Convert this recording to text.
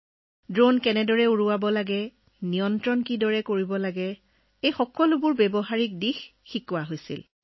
অৰ্থাৎ ড্ৰোনখন কেনেকৈ উৰুৱাব লাগে কেনেকৈ নিয়ন্ত্ৰণ কৰিব লাগে চলাব লাগে সকলোবোৰৰ ব্যৱহাৰিক দিশ শিকোৱা হৈছিল